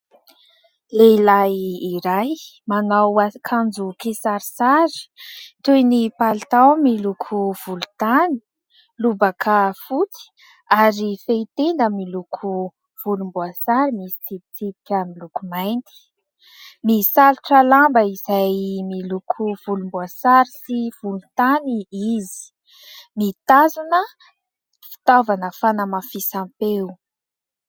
Lehilahy iray manao akanjo kisarisary toy ny palitao miloko volontany, lobaka fotsy ary fehitenda miloko volomboasary misy tsipitsipika miloko mainty, misalotra lamba izay miloko volomboasary sy volontany izy, mitazona fitaovana fanamafisam-peo.